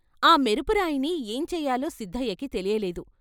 ఆ మెరుపు రాయిని ఏం చేయాలో సిద్దయ్యకి తెలియలేదు.